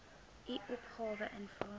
u opgawe invul